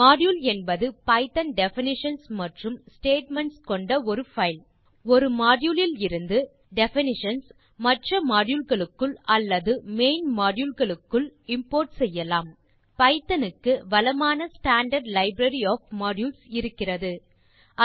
module என்பது Python definitions மற்றும் statements கொண்ட ஒரு பைல் ஒரு மாடியூல் இலிருந்து டெஃபினிஷன்ஸ் மற்ற மாடியூல் களுக்குள் அல்லது மெயின் மாடியூல் க்குள் இம்போர்ட் செய்யலாம் பைத்தோன் க்கு வளமான ஸ்டாண்டார்ட் லைப்ரரி ஒஃப் மாடியூல்ஸ் இருக்கிறது